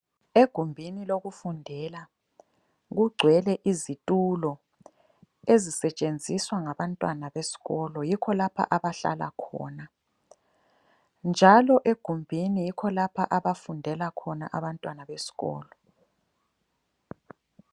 Egumbini lokufundela kugcwele izitulo ezisetshenziswa ngabantwana besikolo yikho lapha abahlala khona njalo egumbini yikho lapha abafundela khona abantwana besikolo.